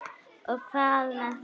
Og hvað með það þá?